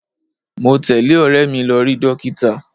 Mo tẹle ọ̀rẹ́ mi lọ rí dókítà.